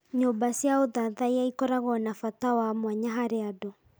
Nyũmba cia ũthathaiya ikoragwo na bata wa mwanya harĩ andũ.